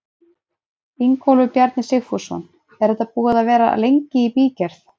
Ingólfur Bjarni Sigfússon: Er þetta búið að vera lengi í bígerð?